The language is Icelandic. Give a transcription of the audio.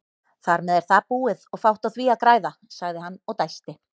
Þarmeð er það búið og fátt á því að græða, sagði hann og dæsti.